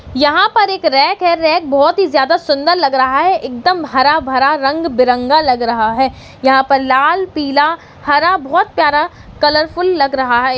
यहां पर एक रैक है रैक बहोत ही ज्यादा सुन्दर लग रहा है एकदम हरा भरा रंग बीरंगा लग रहा है यहां पर लाल पीला हरा बहुत प्यारा कलरफुल लग रहा है।